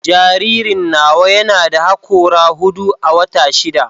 Jaririn nawa yana da hakora hudu a wata shida